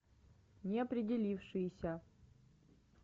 неопределившиеся